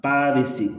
Paa be se